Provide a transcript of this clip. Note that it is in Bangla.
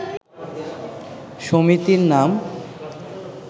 সমিতির নাম